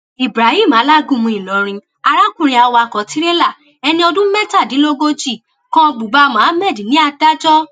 ibrahim alágúnmu ìlọrin arákùnrin awakọ tirẹlá ẹni ọdún mẹtàdínlógójì kan buba mohammed ní adájọ a